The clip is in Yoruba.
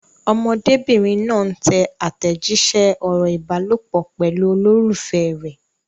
Ọmọdébìnrin náà ń tẹ àtẹ̀jíṣẹ́ ọ̀rọ̀ ìbálòpọ̀ pẹ̀lú olólùfẹ́ rẹ̀.